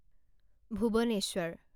Bhubaneswar